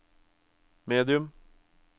medium